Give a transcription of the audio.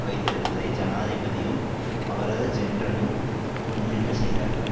வைத்திருப்பதை ஜனாதிபதியும் அவரது ஜென்ரலும் முன்னின்று செய்தார்கள்